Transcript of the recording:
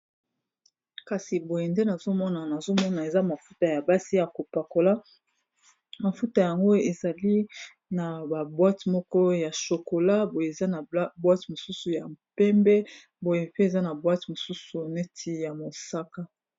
kasi boye nde nazomona nazomona eza mafuta ya basi ya kopakola mafuta yango ezali na baboite moko ya shokola boye eza na boite mosusu ya mpembe boye pe eza na boite mosusu neti ya mosaka